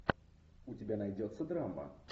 у тебя найдется драма